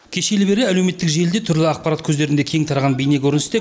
кешелі бері әлеуметтік желіде түрлі ақпарат көздерінде кең тараған бейнекөріністе